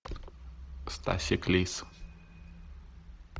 стасик лис